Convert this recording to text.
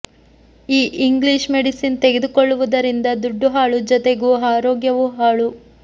ಈ English medicine ತೆಗೆದುಕೊಳ್ಳುವುದರಿಂದ ದುಡ್ಡು ಹಾಳು ಜೊತೆಗೂ ಆರೋಗ್ಯವು ಹಾಳು